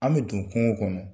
An bɛ don kungo kɔnɔ